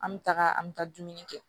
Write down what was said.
An bɛ taga an bɛ taa dumuni kɛ